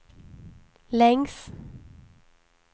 längs